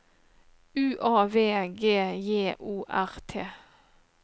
U A V G J O R T